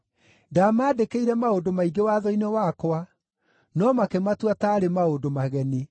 Ndaamandĩkĩire maũndũ maingĩ watho-inĩ wakwa, no makĩmatua taarĩ maũndũ mageni.